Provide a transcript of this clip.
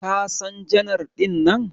Ka San janar dinnan?